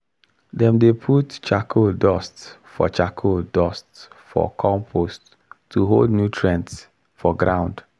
dem dey put charcoal dust for charcoal dust for compost to hold nutrient for ground